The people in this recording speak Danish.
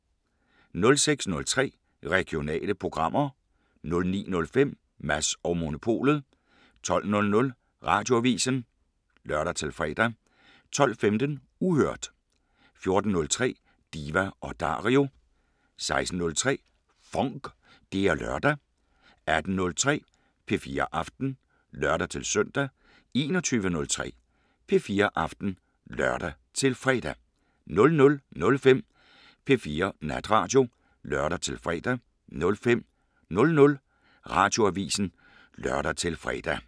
06:03: Regionale programmer 09:05: Mads & Monopolet 12:00: Radioavisen (lør-fre) 12:15: Uhørt 14:03: Diva & Dario 16:03: FONK! Det er lørdag 18:03: P4 Aften (lør-søn) 21:03: P4 Aften (lør-fre) 00:05: P4 Natradio (lør-fre) 05:00: Radioavisen (lør-fre)